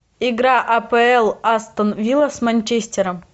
игра апл астон вилла с манчестером